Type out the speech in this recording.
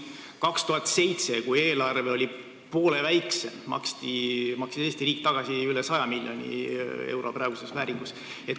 Aastal 2007, kui eelarve oli poole väiksem, maksis Eesti riik tagasi praeguses vääringus üle 100 miljoni euro.